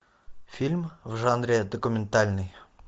фильм в жанре документальный